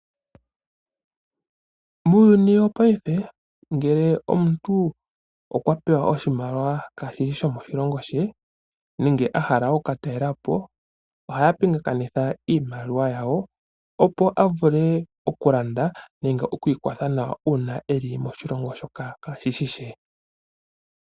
Muuyuni wopaife ngele omuntu okwa pewa oshimaliwa kaashishi shomoshilongo she nenge ahala oku katalelapo ohaya pingakanitha iimaliwa yawo opo avule okulanda nenge okwiikwatha nayo uuna eli moshilongo shoka kaashishi she.